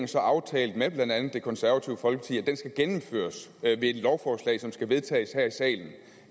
så aftalt med blandt andet det konservative folkeparti at den skal gennemføres ved et lovforslag som skal vedtages her i salen